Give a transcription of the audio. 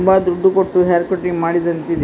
ತುಂಬಾ ದುಡ್ಡು ಕೊಟ್ಟು ಹೇರ್ ಕಟ್ಟಿಂಗ್ ಮಾಡಿದ್ದಂತೆ ಇದೆ.